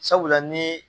Sabula ni